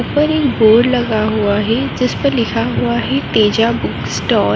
ऊपर एक बोर्ड लगा हुआ है जिसपर लिखा हुआ है तेजा बुक स्टॉल ।